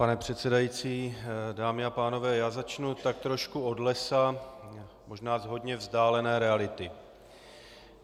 Pane předsedající, dámy a pánové, já začnu tak trošku od lesa, možná z hodně vzdálené reality.